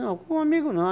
Não, como amigo não.